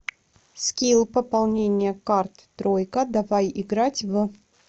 скилл пополнение карт тройка давай играть в